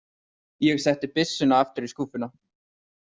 Ég setti byssuna aftur í skúffuna.